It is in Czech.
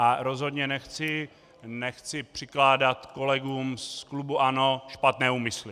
A rozhodně nechci přikládat kolegům z klubu ANO špatné úmysly.